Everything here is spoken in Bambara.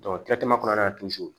kɔnɔna na